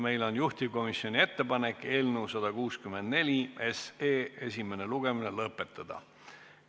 Meil on juhtivkomisjoni ettepanek eelnõu 164 esimene lugemine lõpetada.